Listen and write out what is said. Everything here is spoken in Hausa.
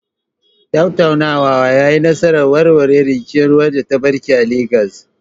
Tattaunawar ta yi nasarar warware rikicin ruwa da ya barke a Legas.